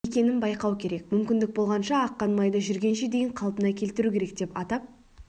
екенін байқау керек мүмкіндік болғанша аққан майды жүргенше дейін қалпына келтіру керек деп атап